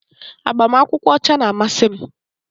Agbamakwụkwọ ọcha na-amasị m